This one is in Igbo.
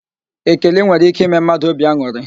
Ekele nwere íké ime mmadụ óbì an̄ụrị.